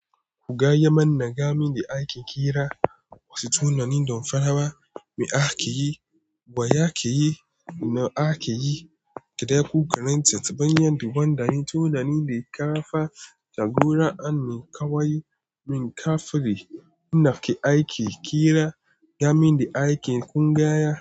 Gaya man gamin da ake kira wasu tunanin don farawa me ake yi, baya ake yi, ina ake yi, ka ɗa ku karanta taɓanyan daban-daban tunanin da kafa jagora ne kawai. Min kafri ina ake aiki kira game da akin ƙungiya.